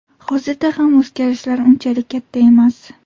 Hozirda ham o‘zgarishlar unchalik katta emas.